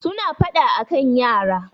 suna fada a kan yara